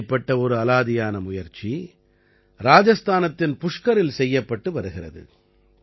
இப்படிப்பட்ட ஒரு அலாதியான முயற்சி ராஜஸ்தானத்தின் புஷ்கரில் செய்யப்பட்டு வருகிறது